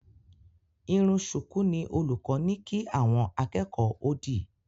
Irun ṣùkú ni olùkọ́ ní kí àwọn akẹ́kọ̀ọ́ ó dì